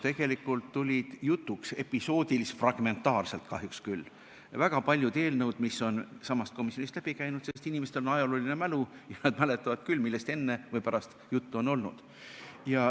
Tegelikult tulid jutuks, episoodilis-fragmentaarselt kahjuks küll, väga paljud eelnõud, mis on samast komisjonist läbi käinud, sest inimestel on ajaloomälu ja nad mäletavad, millest enne juttu on olnud.